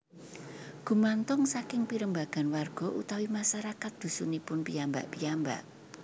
Gumantung saking pirembagan warga utawi masyarakat dhusunipun piyambak piyambak